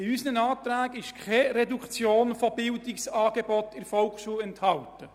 In unseren Anträgen ist keine Reduktion von Bildungsangeboten in der Volksschule enthalten.